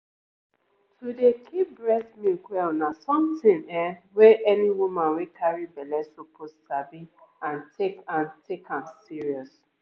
to dey keep breast milk well na something ehm wey any woman wey carry belle suppose sabi and take and take am serious.